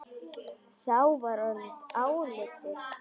Þá var orðið áliðið dags.